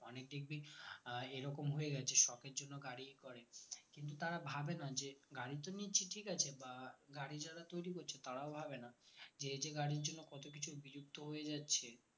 অনেক দেখবি এরকম হয়ে গেছে যে shop এর জন্য গাড়ি করে কিন্তু তারা ভাবে না যে গাড়ি তো নিচ্ছি ঠিক আছে বা গাড়ি যারা তৈরি করেছে তারাও ভাবে না যে এই যে গাড়ির জন্য কত কিছু বিলুপ্ত হয়ে যাচ্ছে